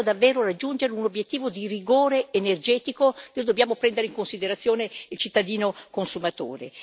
Se vogliamo davvero raggiungere un obiettivo di rigore energetico, noi dobbiamo prendere in considerazione il cittadino consumatore.